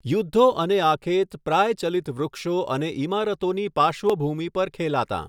યુદ્ધો અને આખેત પ્રાયચલિત વૃક્ષો અને ઇમારતોની પાર્શ્વ ભૂમિ પર ખેલાતાં.